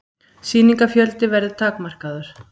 Sýningafjöldi verður takmarkaður